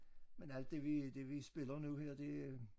Men alt det vi det vi spiller nu her det øh